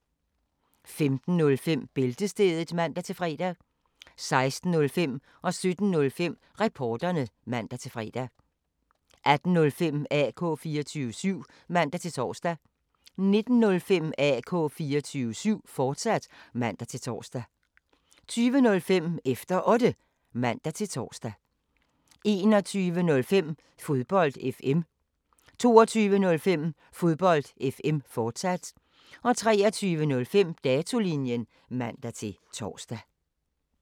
15:05: Bæltestedet (man-fre) 16:05: Reporterne (man-fre) 17:05: Reporterne (man-fre) 18:05: AK 24syv (man-tor) 19:05: AK 24syv, fortsat (man-tor) 20:05: Efter Otte (man-tor) 21:05: Fodbold FM 22:05: Fodbold FM, fortsat 23:05: Datolinjen (man-tor)